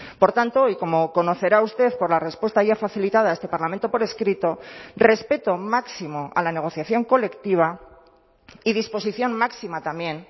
por tanto y como conocerá usted por la respuesta ya facilitada a este parlamento por escrito respeto máximo a la negociación colectiva y disposición máxima también